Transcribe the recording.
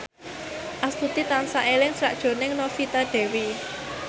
Astuti tansah eling sakjroning Novita Dewi